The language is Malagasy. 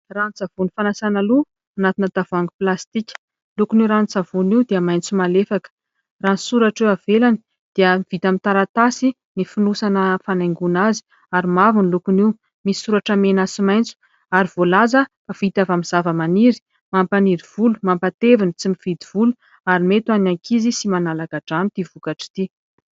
Ranon-tsavony fanasana loha anatina tavoahangy plastika. Lokony io ranon-tsavony io dia maitso malefaka ; raha ny soratra eo ivelany dia vita amin'ny taratasy ny fonosana fanaingona azy ary mavo ny lokony io. Misy soratra mena sy maitso ary voalaza vita avy amin'ny zavamaniry, mampaniry volo ,mampatevina tsy mividy volo ary mety ho an'ny ankizy sy manala angadrano ity vokatra ity.